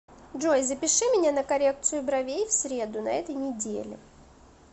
джой запиши меня на коррекцию бровей в среду на этой неделе